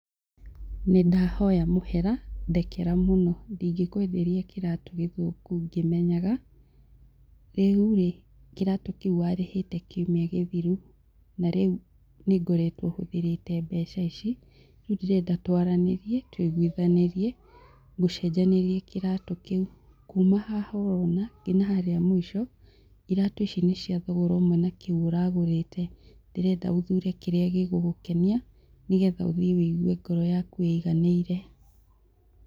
Nĩ ndahoya mũhera, ndekera mũno. Ndingĩkwenderia kĩratũ gĩthũku ngĩmenyaga. Rĩu rĩ kĩratũ kĩu warĩhĩte kiumia gĩthiru na rĩu nĩngoretwo hũthĩrĩte mbeca ici. Rĩu ndĩrenda twaranĩrie tũiguithanĩrie, ngũcenjanĩrie kĩratũ kĩu. Kuma haha orona nginya harĩa mũico, iratũ ici nĩ cia thogora ũmwe na kĩu ũragũrĩte. Ndĩrenda ũthure kĩrĩa gĩgũgũkenia nĩgetha ũthiĩ wũigue ngoro yaku ĩiganĩire